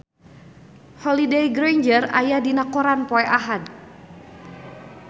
Holliday Grainger aya dina koran poe Ahad